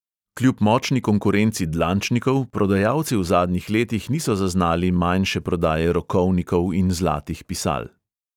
Kljub močni konkurenci dlančnikov prodajalci v zadnjih letih niso zaznali manjše prodaje rokovnikov in zlatih pisal.